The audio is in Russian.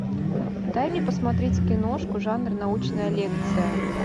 дай мне посмотреть киношку жанр научная лекция